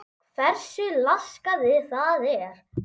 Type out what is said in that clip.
Hversu laskað það er?